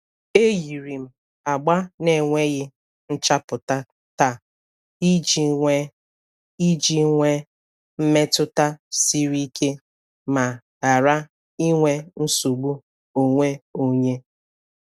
E yiri m agba na-enweghị nchapụta taa iji nwee iji nwee mmetụta siri ike ma ghara inwe nsogbu onwe onye.